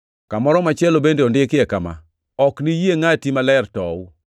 Kamoro machielo bende ondikie kama: “ ‘Ok niyie Ngʼati Maler tow.’ + 13:35 \+xt Zab 16:10\+xt*